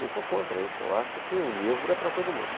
Eu sou contra isso, eu acho que o livro é para todo mundo.